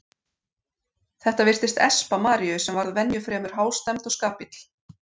Þetta virtist espa Maríu sem varð venju fremur hástemmd og skapill.